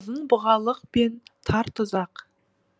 ұзын бұғалық пен тар тұзақ